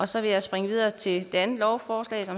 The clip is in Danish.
så vil jeg springe videre til det andet lovforslag